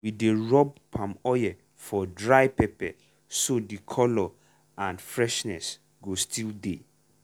we dey rub palm oil for dry pepper so the colour and freshness go still dey.